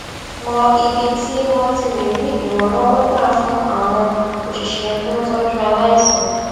mọ ibi tí wón ti lè rí ìrànlówó gbà fún àwọn òṣìṣé tó ń tójú aláìsàn